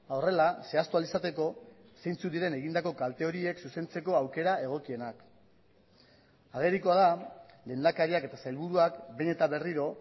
horrela zehaztu ahal izateko zeintzuk diren egindako kalte horiek zuzentzeko aukera egokienak agerikoa da lehendakariak eta sailburuak behin eta berriro